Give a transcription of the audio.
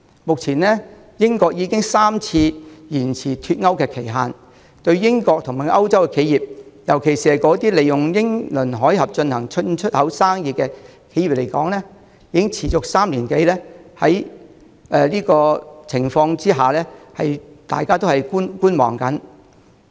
目前，英國已經3次延遲脫歐期限，對英國和歐洲企業，尤其是那些利用英倫海峽進行進出口生意的企業來說，不確定情況已持續了3年多，大家只能抱觀望態度。